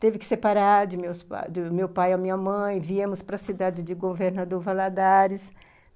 Teve que separar de meus, do meu pai e a minha mãe, viemos para a cidade de Governador Valadares.